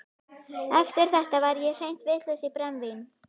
Eftir þetta var ég hreint vitlaus í brennivín.